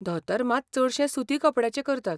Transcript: धोतर मात चडशें सुती कपड्याचें करतात.